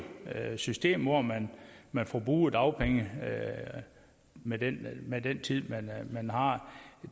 system hvor man man forbruger dagpenge med den med den tid man har